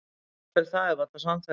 Jafnvel það er varla sannfærandi.